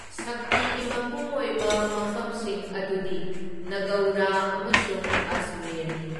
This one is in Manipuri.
ꯁꯛꯇꯤꯒꯤ ꯃꯄꯨꯡ ꯑꯣꯏꯕ ꯃꯐꯝꯁꯤꯡ ꯑꯗꯨꯗꯤ ꯅꯥꯒꯧꯔ ꯑꯃꯁꯨꯡ ꯑꯖꯃꯦꯔꯅꯤ꯫